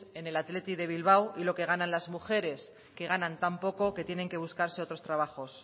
en el athletic de bilbao y lo que ganan las mujeres que ganan tan poco que tienen que buscarse otros trabajos